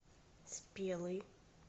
спелый